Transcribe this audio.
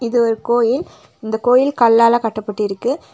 இது ஒரு கோயில் இந்த கோயில் கல்லால கட்டப்பட்டிருக்கு.